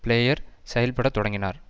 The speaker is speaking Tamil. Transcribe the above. பிளேயர் செயல்பட தொடங்கினார்